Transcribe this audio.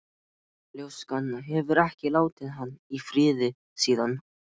Ljóskan hefur ekki látið hann í friði síðan.